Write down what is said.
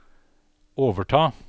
overta